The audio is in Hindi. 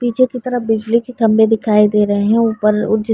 पीछे की तरफ बिजली के खम्भे दिखाई दे रहे हैं ऊपर --